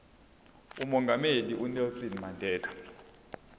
umongameli unelson mandela